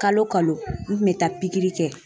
Kalo o kalo n kun bɛ taa kɛ.